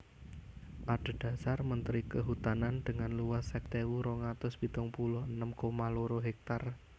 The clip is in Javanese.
Adhedhasar Menteri Kehutanan dengan luas seket ewu rong atus pitung puluh enem koma loro hektar